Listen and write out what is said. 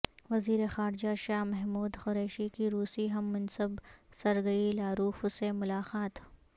وزیر خارجہ شاہ محمود قریشی کی روسی ہم منصب سرگئی لاروف سے ملاقات